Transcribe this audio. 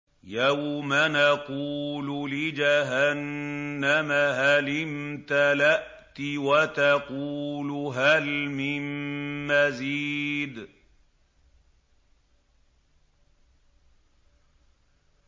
يَوْمَ نَقُولُ لِجَهَنَّمَ هَلِ امْتَلَأْتِ وَتَقُولُ هَلْ مِن مَّزِيدٍ